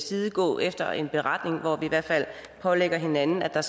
side gå efter en beretning hvor vi i hvert fald pålægger hinanden at